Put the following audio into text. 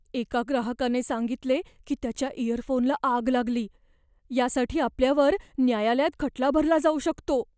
एका ग्राहकाने सांगितले की त्याच्या इयरफोनला आग लागली. यासाठी आपल्यावर न्यायालयात खटला भरला जाऊ शकतो.